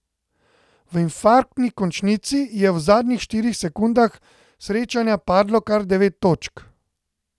V infarktni končnici je v zadnjih štirih sekundah srečanja padlo kar devet točk.